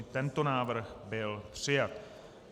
I tento návrh byl přijat.